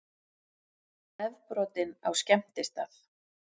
Nefbrotinn á skemmtistað